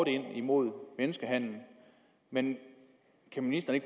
ind imod menneskehandel men kan ministeren